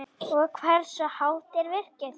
Og hversu hátt er virkið?